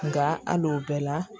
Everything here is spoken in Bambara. Nka hali o bɛɛ la